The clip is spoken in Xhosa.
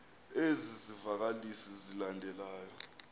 ezi zivakalisi zilandelayo